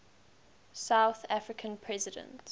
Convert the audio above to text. south african president